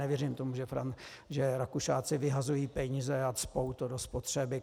Nevěřím tomu, že Rakušáci vyhazují peníze a cpou to do spotřeby.